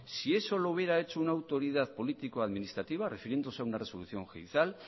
si eso lo hubiera hecho una autoridad político administrativa refiriéndose a una resolución judicial